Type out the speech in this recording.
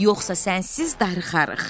Yoxsa sənsiz darıxarıq.